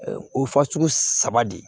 O fasugu saba de